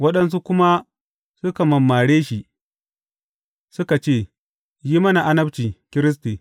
Waɗansu kuma suka mammare shi suka ce, Yi mana annabci, Kiristi.